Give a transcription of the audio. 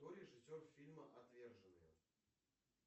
кто режиссер фильма отверженные